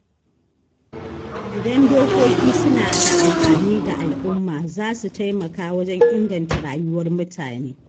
Idan dokoki suna da amfani ga al’umma, za su taimaka wajen inganta rayuwar mutane.